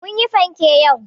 Mun yi panke yau.